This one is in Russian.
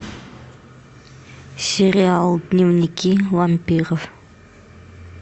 сериал дневники вампиров